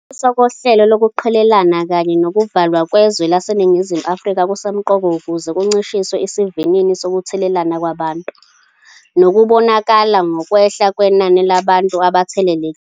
Ukuqaliswa kohlelo lokuqhelelana kanye nokuvalwa kwezwe laseNingizimu Afrika kusemqoka ukuze kuncishiswe isivinini sokuthelelana kwabantu, nokubonakala ngokwehla kwenani labantu abathelelekile.